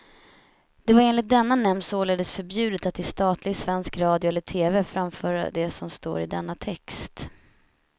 Det var enligt denna nämnd således förbjudet att i statlig svensk radio eller tv framföra det som står i denna text.